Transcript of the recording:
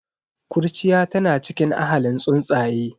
Kurciya tana cikin ahalin tsuntsaye.